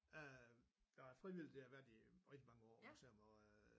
Øh jeg er frivillig det har jeg været i rigtig mange år på museum og øh